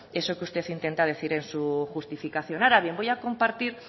eso que usted intenta decir en su justificación ahora bien voy a compartir